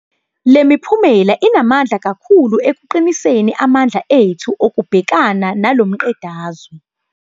Le miphumela inamandla kakhulu ekuqiniseni amandla ethu okubhekana nalo mqedazwe.